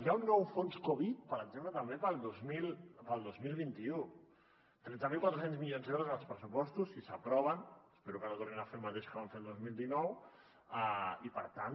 hi ha un nou fons covid per exemple també per al dos mil vint u tretze mil quatre cents milions d’euros en els pressupostos si s’aproven espero que no tornin a fer el mateix que van fer el dos mil dinou i per tant